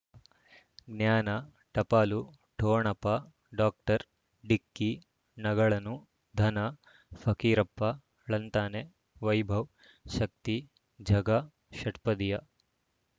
ಜ್ಞಾನ ಟಪಾಲು ಠೊಣಪ ಡಾಕ್ಟರ್ ಢಿಕ್ಕಿ ಣಗಳನು ಧನ ಫಕೀರಪ್ಪ ಳಂತಾನೆ ವೈಭವ್ ಶಕ್ತಿ ಝಗಾ ಷಟ್ಪದಿಯ